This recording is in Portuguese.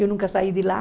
Eu nunca saí de lá.